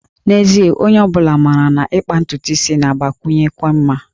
N'ezie, onye ọ bụla maara na ịkpa ntutu isi na-agbakwụnyekwu mma